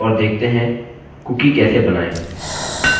अतः चलिए शुरू करते हैं और देखते हैं कुकी कैसे बनाएँ